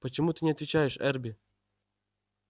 почему ты не отвечаешь эрби